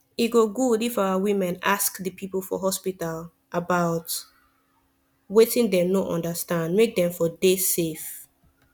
e go good if our women ask the people for hospital about wetin dem no understand make dem for dey safe